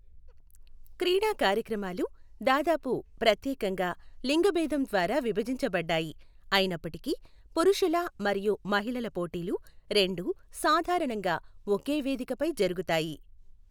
క్రీడా కార్యక్రమాలు దాదాపు ప్రత్యేకంగా లింగభేదం ద్వారా విభజించబడ్డాయి, అయినప్పటికీ పురుషుల మరియు మహిళల పోటీలు రెండూ సాధారణంగా ఒకే వేదికపై జరుగుతాయి.